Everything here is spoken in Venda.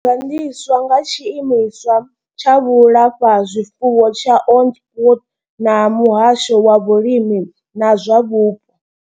Yo gandiswa nga tshiimiswa tsha vhulafhazwifuwo tsha Onderstepoort na muhasho wa vhulimi na zwa vhupo.